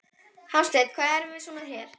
Hafsteinn: Hvað erum við svo með hér?